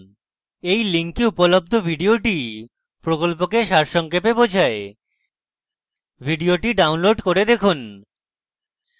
এই link উপলব্ধ video প্রকল্পকে সারসংক্ষেপে বোঝায় video ডাউনলোড করে দেখুন